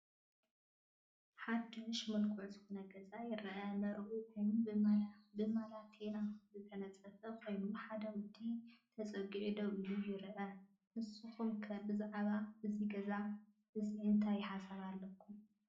ሓዱሽ ምለኩዕ ዝኾነ ገዛ ይረአ፡፡ መረብኡ ውን ብማቴኔላ ዝተነፀፈ ኾይኑ ሓደ ወዲ ተፀጊዑ ደው ኢሉ ይረአ፡፡ ንስኹም ከ ብዛዕባ እዚ ገዛ እዚ እንታይ ሓሳብ ኣለኩም?